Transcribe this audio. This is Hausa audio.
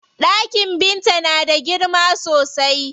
Ɗakin Binta na da girma sosai.